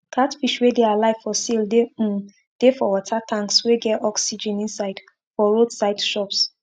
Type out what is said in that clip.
catfish wey dey alive for sale dey um dey for water tanks wey get oxygen inside for road side shops